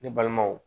Ne balimaw